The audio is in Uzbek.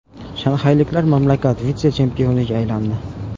Shanxayliklar mamlakat vitse-chempioniga aylandi.